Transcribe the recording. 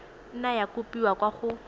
nna ya kopiwa kwa go